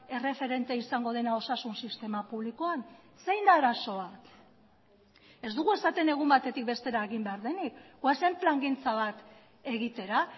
erreferente izango dena osasun sistema publikoan zein da arazoa ez dugu esaten egun batetik bestera egin behar denik goazen plangintza bat egitera